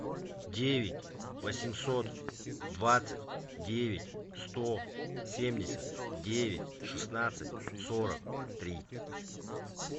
девять восемьсот двадцать девять сто семьдесят девять шестнадцать сорок три